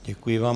Děkuji vám.